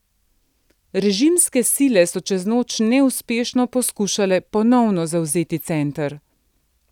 Režimske sile so čez noč neuspešno poskušale ponovno zavzeti center.